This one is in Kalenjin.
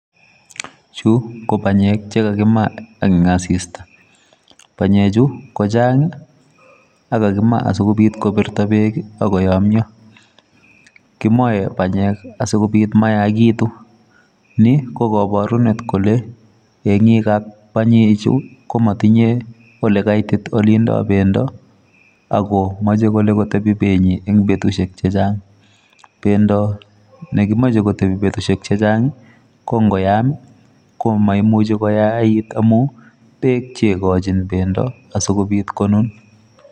Chuu ko banyek chekakimaa en asista. Banye chu ko chang' ako kakimaa sikobirto beek akoyomyo. KImoe banyek asikobit mayakitun; Ni kokabarunet kole yeng'ik ab banye chu komotinye ole kaitit ole indo bendo ako moche kole kotebi benyi en betusiek chechang'.Bendo nekimoche kotebi betusiek chechang' ko ngoyam ko maimuche koyait amu beek cheikochin bendo asikobit konun.